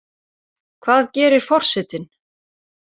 Hvað gerir forsetinn